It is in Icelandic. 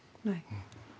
nei